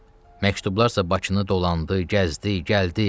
Məktublarsa Bakını dolandı, gəzdi, gəldi.